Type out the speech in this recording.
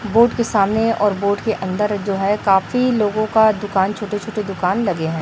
Boat के सामने और बोट के अंदर जो है काफी लोगों का दुकान छोटे छोटे दुकान लगे हैं।